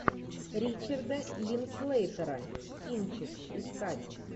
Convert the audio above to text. ричарда линклейтера кинчик искать